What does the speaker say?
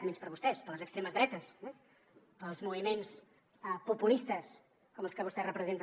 menys per vostès per les extremes dretes eh pels moviments populistes com els que vostè representa